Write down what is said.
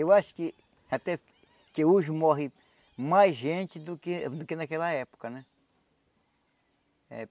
Eu acho que até que hoje morre mais gente do que do que naquela época, né? Eh